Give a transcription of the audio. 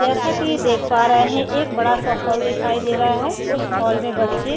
जैसा की देख पा रहे हैं एक बड़ा सा हॉल दिखाई दे रहा है उस हॉल में बच्चे --